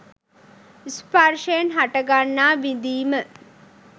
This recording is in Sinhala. ස්පර්ශයෙන් හටගන්නා විඳීම